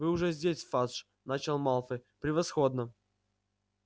вы уже здесь фадж начал малфой превосходно